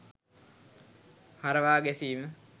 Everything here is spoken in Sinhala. හරවා ගැසීම